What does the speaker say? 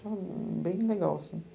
Ficava bem legal, assim.